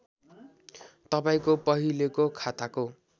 तपाईँंको पहिलेको खाताको